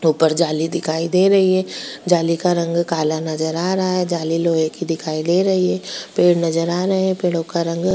ऊपर जाली दिखाई दे रही है जाली का रंग काला नजर आ रहा है जाली लोहे की दिखाई दे रही है पेड़ नजर आ रहे हैं पेड़ो का रंग --